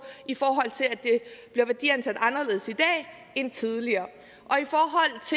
i forhold til at det bliver værdiansat anderledes i dag end tidligere